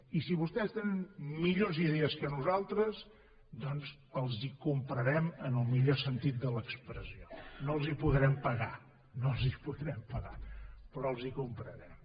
i si vostès tenen millors idees que nosaltres doncs els les comprarem en el millor sentit de l’expressió no les hi podrem pagar no les hi podrem pagar però les hi comprarem